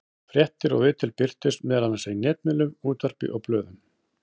Fréttir og viðtöl birtust meðal annars í netmiðlum, útvarpi og blöðum.